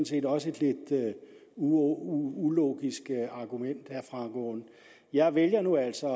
set også et lidt ulogisk argument jeg vælger nu altså